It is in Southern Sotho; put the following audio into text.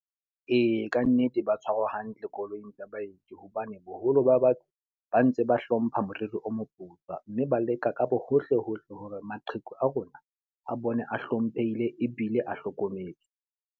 Ee, ka nnete ba tshwarwa hantle koloing tsa baeti. Hobane boholo ba batho ba ntse ba hlompha moriri o moputswa. Mme ba leka ka hohle hohle hore maqheku a rona a bone a hlomphehile ebile a hlokometswe.